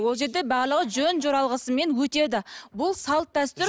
ол жерде барлығы жөн жоралғысымен өтеді бұл салт дәстүр